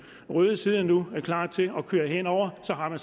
røde side nu klar til at køre hen over og så har man